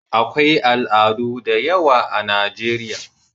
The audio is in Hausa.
akwai al'adu da yawa a Najeriya